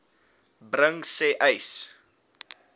bring sê uys